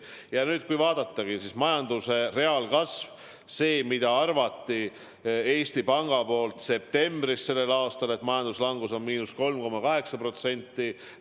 Kui nüüd vaadata majanduse reaalkasvu, siis septembris arvati Eesti Pangas, et majanduslangus on 3,8%.